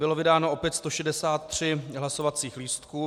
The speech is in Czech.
Bylo vydáno opět 163 hlasovacích lístků.